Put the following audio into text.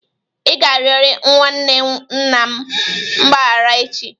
Ị ga-arịọrịrị nwa nwanne nna m mgbaghara echi!